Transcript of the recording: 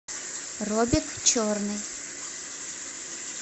робик черный